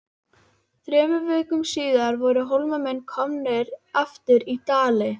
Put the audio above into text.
Þremur vikum síðar voru Hólamenn komnir aftur í Dali.